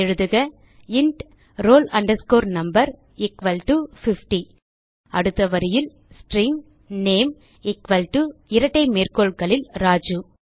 எழுதுக int roll no equal to 50 அடுத்த வரியில் ஸ்ட்ரிங் நேம் எக்குவல் டோ இரட்டை மேற்கோள்களில் ராஜு